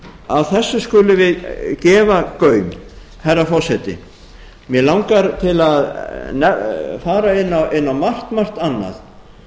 að þessu skulum við gefa gaum herra forseti mig langar til að fara inn á margt margt annað